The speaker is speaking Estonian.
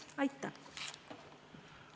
Aitäh!